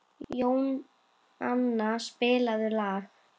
Jónanna, spilaðu lag.